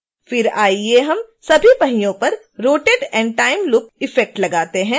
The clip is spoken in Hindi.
फिर आइए हम सभी पहियों पर rotate & time loop इफ़ेक्ट लगाते हैं